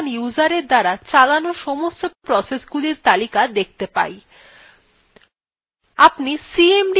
এই ভাবে আমরা বর্তমান userএর দ্বারা চালানো সমস্ত processesগুলির তালিকা দেখতে pai